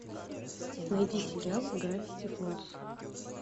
найди сериал гравити фоллз